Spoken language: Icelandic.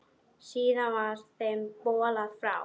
Síðar var þeim bolað frá.